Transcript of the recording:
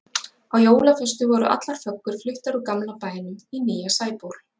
Á jólaföstu voru allar föggur fluttar úr gamla bænum í nýja Sæból.